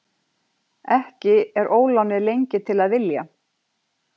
Ekki er ólánið lengi til að vilja.